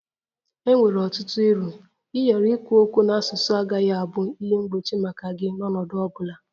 E nwere ọtụtụ uru ịghara ikwu okwu n'asụsụ agaghị abụ ihe mgbochi maka gị n'ọnọdụ ọ bụla